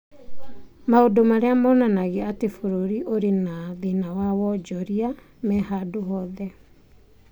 Maũndũ marĩa monanagia atĩ bũrũri ũrĩ na thĩna wa wonjoria me handu hothe.